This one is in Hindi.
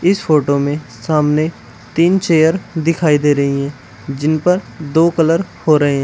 इस फोटो में सामने तीन चेयर दिखाई दे रही है जिन पर दो कलर हो रहे हैं।